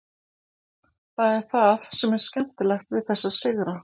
Það er það sem er skemmtilegt við þessa sigra.